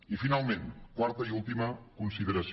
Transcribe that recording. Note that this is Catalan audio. i finalment quarta i última consideració